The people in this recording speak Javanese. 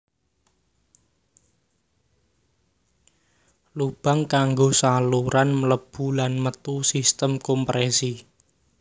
Lubang kanggo saluran mlebu lan metu sistem komprèsi